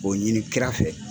N b'o ɲini kira fɛ.